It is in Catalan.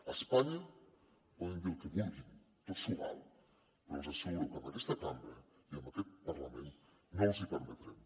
a espanya poden dir el que vulguin tot s’hi val però els asseguro que en aquesta cambra i en aquest parlament no els hi permetrem